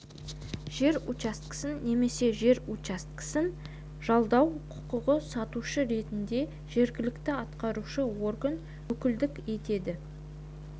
жер учаскесін немесе жер учаскесін жалдау құқығын сатушы ретінде жергілікті атқарушы орган өкілдік етеді